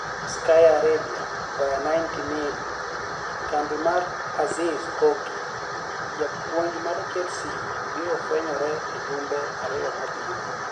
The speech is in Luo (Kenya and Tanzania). (Sky Arabia - via 90mini) Kambi marAzizi koki japuonij mar Chelsea biro fweniyore e jumbe ariyo mabiro.